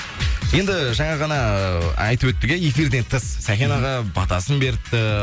енді жаңа ғана айтып өттік иә эфирден тыс сәкен аға батасын беріпті